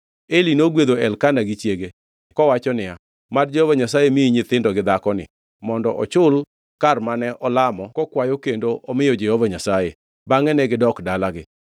Eli negwedho Elkana gi chiege kowacho niya, “Mad Jehova Nyasaye miyi nyithindo gi dhakoni mondo ochul kar mane olamo kokwayo kendo omiyo Jehova Nyasaye.” Bangʼe negidok dalagi.